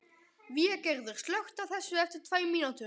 Végerður, slökktu á þessu eftir tvær mínútur.